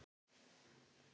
En núna.